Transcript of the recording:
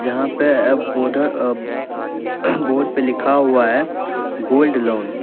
यहां पे अब बॉर्डर अ बोड पे लिखा हुआ है गोल्ड लोन --